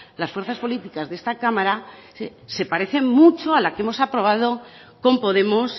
las fuerzas políticas de esta cámara se parecen mucho a la que hemos aprobado con podemos